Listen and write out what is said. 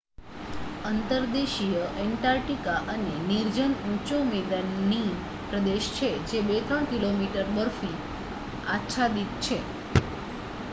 અંતર્દેશીય Antarctica એક નિર્જન ઊંચો મેદાની પ્રદેશ છે જે 2-3 કિમી બરફ આચ્છાદિત છે